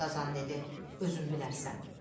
Qazan dedi, özün bilərsən.